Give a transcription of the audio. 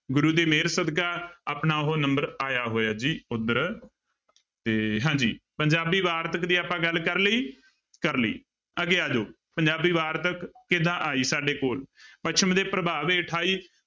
ਗੁਰੂ ਦੀ ਮਿਹਰ ਸਦਕਾ ਆਪਣਾ ਉਹ number ਆਇਆ ਹੋਇਆ ਜੀ ਉੱਧਰ ਤੇ ਹਾਂਜੀ ਪੰਜਾਬੀ ਵਾਰਤਕ ਦੀ ਆਪਾਂ ਗੱਲ ਕਰ ਲਈ, ਕਰ ਲਈ ਅੱਗੇ ਆ ਜਾਓ ਪੰਜਾਬੀ ਵਾਰਤਕ ਕਿੱਦਾਂ ਆਈ ਸਾਡੇ ਕੋਲ ਪੱਛਮ ਦੇ ਪ੍ਰਭਾਵ ਹੇਠ ਆਈ।